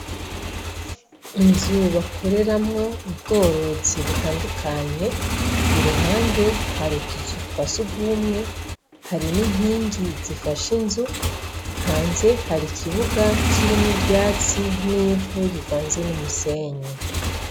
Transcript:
Inzu bakoreramwo ubworozi butandukanye, iruhande hari utuzu twa sugumwe, hari n'inkingi zifashe inzu, hanze hari ikibuga kirimwo ivyatsi n'ivu rivanze n'umusenyi.